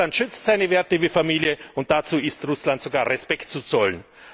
Russland schützt seine Werte wie Familie, und dafür ist Russland sogar Respekt zu zollen!